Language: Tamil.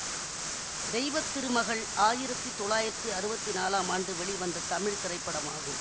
தெய்வ திருமகள் ஆயிரத்தி தொள்ளாயிரத்தி அறுவத்தி நாலாம் ஆண்டு வெளிவந்த தமிழ் திரைப்படமாகும்